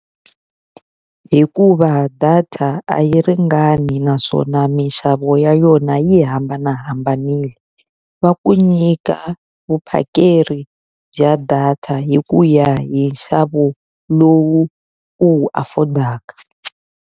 Hikuva data a yi ringani naswona minxavo ya yona yi hambanahambanile. Va ku nyika vuphakeri bya data hi ku ya hi nxavo lowu u wu afford-aka.